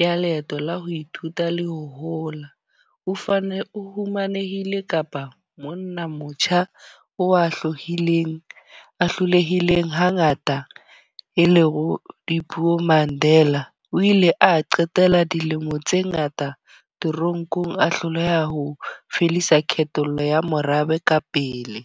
ya leeto la ho ithuta le ho hola. O fane o fumanehile kapa monna motjha o a hlohileng, a hlolehileng ha ngata e le ho dipuo. Mandela o ile a qetela dilemo tse ngata toronkong a hloleha ho fedisa kgethollo ya morabe ka pele.